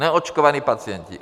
Neočkovaní pacienti!